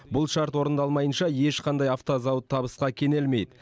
бұл шарт орындалмайынша ешқандай автозауыт табысқа кенелмейді